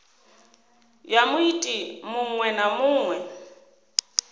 ya muiti muṅwe na muṅwe